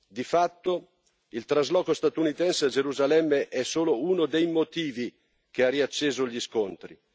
Di fatto, il trasloco statunitense a Gerusalemme è solo uno dei motivi che ha riacceso gli scontri.